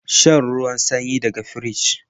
Shan ruwan sanyi daga firij